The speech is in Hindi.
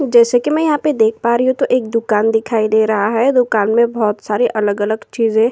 जैसे कि मैं यहाँ पर देख पा रही हूं तो एक दुकान दिखाई दे रहा है। दुकान मे बोहोत सारे अलग-अलग चीजे --